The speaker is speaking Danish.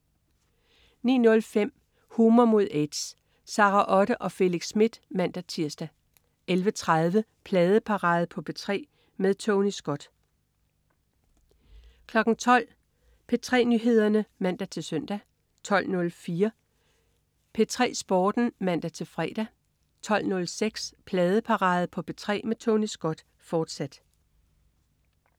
09.05 Humor mod aids. Sara Otte og Felix Smith (man-tirs) 11.30 Pladeparade på P3 med Tony Scott 12.00 P3 Nyheder (man-søn) 12.04 P3 Sporten (man-fre) 12.06 Pladeparade på P3 med Tony Scott, fortsat